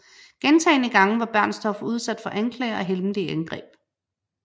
Gentagne gange var Bernstorff udsat for anklager og hemmelige angreb